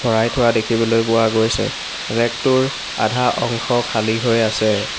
ভৰাই থোৱা দেখিবলৈ পোৱা গৈছে ৰেগটোৰ আধা অংশ খালী হৈ আছে।